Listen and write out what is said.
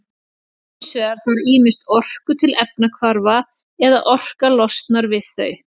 Hins vegar þarf ýmist orku til efnahvarfa eða orka losnar við þau.